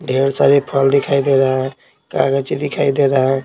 ढेर सारे फल दिखाई दे रहा है कागज दिखाई दे रहा है।